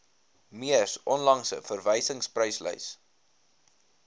mees onlangse verwysingspryslys